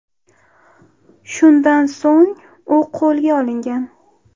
Shundan so‘ng u qo‘lga olingan.